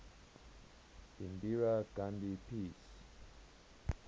indira gandhi peace